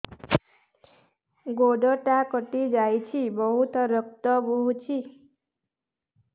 ଗୋଡ଼ଟା କଟି ଯାଇଛି ବହୁତ ରକ୍ତ ବହୁଛି